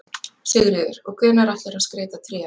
Sigríður: Og hvenær ætlarðu að skreyta tréð?